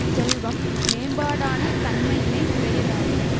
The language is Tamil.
செல்வம் மேம்பாடான தன்மையினை உடையதாகும்